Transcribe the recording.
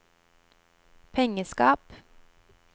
pengeskap